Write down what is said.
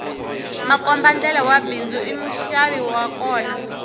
makombandlela wa bindzu i muxavi wa kona